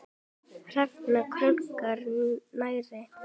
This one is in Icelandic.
Hrafn krunkar nærri.